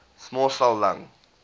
small cell lung